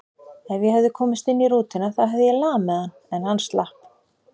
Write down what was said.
Ef ég hefði komist inn í rútuna þá hefði ég lamið hann, en hann slapp.